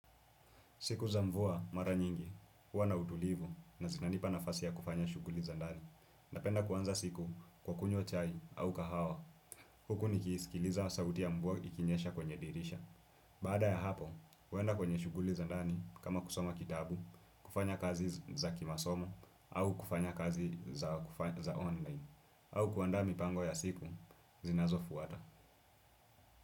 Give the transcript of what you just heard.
Siku za mvua mara nyingi, huwa na utulivu na zinanipa nafasi ya kufanya shughuli za ndani. Napenda kuanza siku kwa kunywa chai au kahawa. Huku nikisikiliza sauti ya mvua ikinyesha kwenye dirisha. Baada ya hapo, huenda kwenye shughuli za ndani kama kusoma kitabu, kufanya kazi za kimasomo au kufanya kazi za online. Au kuandaa mipango ya siku, zinazo fuata.